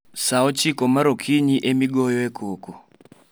Sa ochiko mar okinyi ema igoyoe koko